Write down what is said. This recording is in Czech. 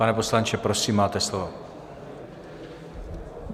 Pane poslanče, prosím, máte slovo.